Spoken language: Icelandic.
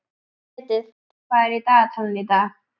Edith, hvað er á dagatalinu í dag?